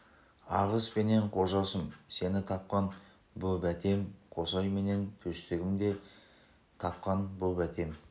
ағыс пенен қожасым сені тапқан бұ бәтем қосай менен төстігім сені де тапқан бұ бәтем